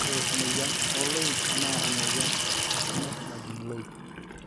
ore emoyiann ooloik naa emoyian toronok najing iloik